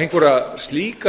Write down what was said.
einhverjar slíkar